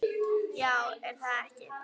Já er það ekki?